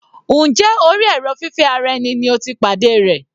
Njẹ́ orí èrò fífẹ́ ara ẹni ni o ti pàdé rẹ̀?